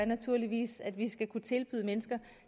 naturligvis at vi skal kunne tilbyde mennesker